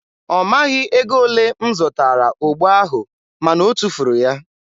ọ maghị ego ole m zụtara ogbo ahụ ma na o tufuru ya.